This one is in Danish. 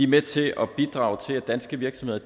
med til at bidrage til at danske virksomheder